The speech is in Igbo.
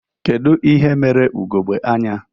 Kedu ihe mere ugogbe anya